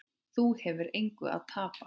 Þú hefur engu að tapa.